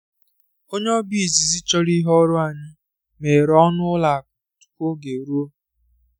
onye ọbịa izizi chọrọ ihe ọrụ anyị meghere ọnụ ụlọ akụ tupu oge eruo.